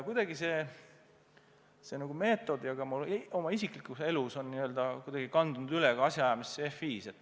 Kuidagi see meetod ka mu oma isiklikus elus on kandunud üle asjaajamisse FI-s.